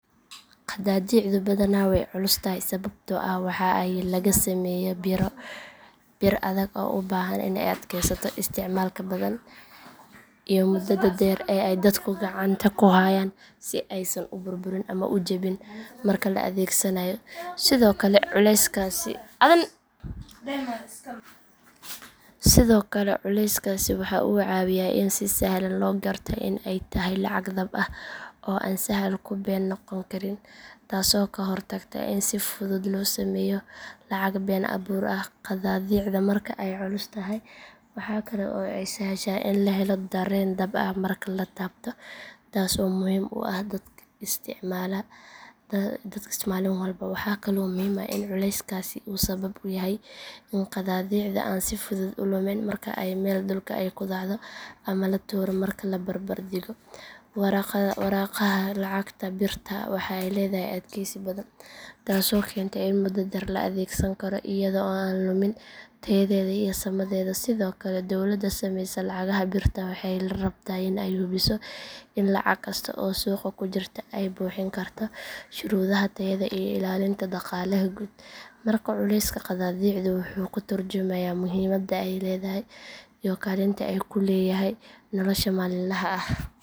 Qadaadiicdu badanaa way culus tahay sababtoo ah waxa ay laga sameeyaa bir adag oo u baahan in ay adkeysato isticmaalka badan iyo muddada dheer ee ay dadku gacanta ku hayaan si aysan u burburin ama u jabin marka la adeegsanayo sidoo kale culeyskaasi waxa uu caawiyaa in si sahlan loo garto in ay tahay lacag dhab ah oo aan sahal ku been noqon karin taasoo ka hortagta in si fudud loo sameeyo lacag been abuur ah qadaadiicda marka ay culus tahay waxa kale oo ay sahashaa in la helo dareen dhab ah marka la taabto taas oo muhiim u ah dadka isticmaala maalin walba waxaa kale oo muhiim ah in culeyskaasi uu sabab u yahay in qadaadiicda aan si fudud u lumin marka ay meel dhulka ah ku dhacdo ama la tuuro marka la barbardhigo waraaqaha lacagta birta waxa ay leedahay adkeysi badan taasoo keenta in muddo dheer la adeegsan karo iyada oo aan lumin tayadeeda iyo sumaddeeda sidoo kale dowladda samaysa lacagaha birta ah waxay rabtaa in ay hubiso in lacag kasta oo suuqa ku jirta ay buuxin karto shuruudaha tayada iyo ilaalinta dhaqaalaha guud markaa culeyska qadaadiicdu wuxuu ka tarjumayaa muhiimadda ay leedahay iyo kaalinta ay ku leeyahay nolosha maalinlaha ah.